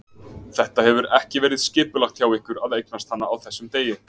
Þetta hefur ekki verið skipulagt hjá ykkur að eignast hana á þessum degi?